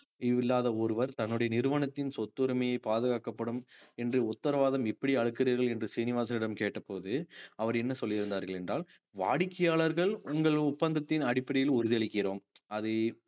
இல்லாத ஒருவர் தன்னுடைய நிறுவனத்தின் சொத்துரிமையை பாதுகாக்கப்படும் என்று உத்தரவாதம் எப்படி அளிக்கிறீர்கள் என்று சீனிவாசனிடம் கேட்டபோது அவர் என்ன சொல்லி இருந்தார்கள் என்றால் வாடிக்கையாளர்கள் உங்கள் ஒப்பந்தத்தின் அடிப்படையில் உறுதி அளிக்கிறோம் அது